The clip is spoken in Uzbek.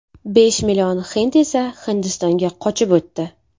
Besh million hind esa Hindistonga qochib o‘tdi.